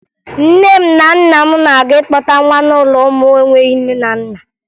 Nne m na nna m na-aga ịkpọta nwa n'ụlọ ụmụ enweghi nne na nna